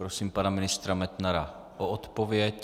Prosím pana ministra Metnara o odpověď.